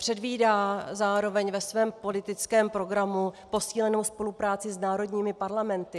Předvídá zároveň ve svém politickém programu posílenou spolupráci s národními parlamenty.